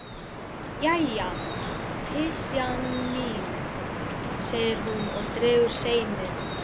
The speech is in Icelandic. Jæja, pysjan mín, segir hún og dregur seiminn.